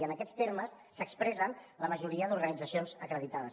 i en aquests termes s’expressen la majoria d’organitzacions acreditades